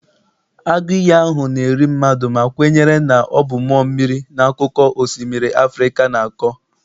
Agụ iyi ahụ na-eri mmadụ ma kwenyere na ọ bụ mmụọ mmiri na akụkọ osimiri Africa na-akọ.